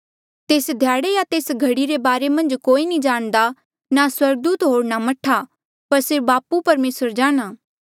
तेस ध्याड़े या तेस घड़ी रे बारे मन्झ कोई नी जाणदा ना स्वर्गदूत होर ना मह्ठा पर सिर्फ बापू जाणहां